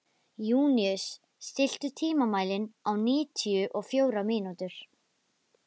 Júníus, stilltu tímamælinn á níutíu og fjórar mínútur.